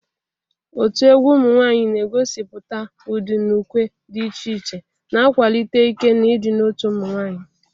Otu egwu ụmụ nwanyị na-egosipụta ụdị na ukwe dị iche iche, na-akwalite ike na ịdị n'otu ụmụ nwanyị.